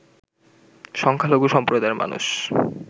সংখ্যালঘু সম্প্রদায়ের মানুষ